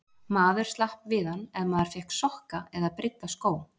Maður slapp við hann ef maður fékk sokka eða brydda skó.